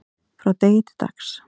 frá degi til dags